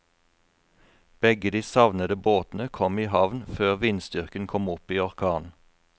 Begge de savnede båtene kom i havn før vindstyrken kom opp i orkan.